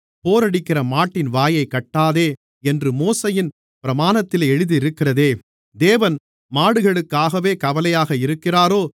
போரடிக்கிற மாட்டின் வாயைக் கட்டாதே என்று மோசேயின் பிரமாணத்திலே எழுதியிருக்கிறதே தேவன் மாடுகளுக்காகவே கவலையாக இருக்கிறாரோ